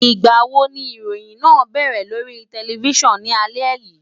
Ìgbà wo ni ìròyìn máa bẹ̀rẹ̀ lórí tẹlifísàn ní alẹ́ yìí?